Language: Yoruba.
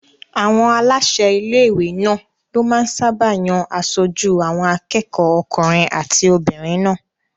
Àwọn aláṣẹ ilé-ìwé náà ló máa ń sáábà yan aṣojú àwọn akẹ́kọ̀ọ́ okùnrin àti obìnrin náà